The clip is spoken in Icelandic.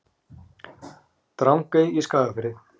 Drangey í Skagafirði.